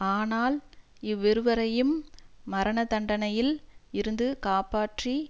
ஆனால் இவ்விருவரையும் மரணதண்டனையில் இருந்து காப்பாற்றி